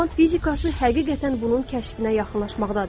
Kvant fizikası həqiqətən bunun kəşfinə yaxınlaşmaqdadır.